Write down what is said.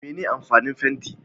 Mene amfanin fenti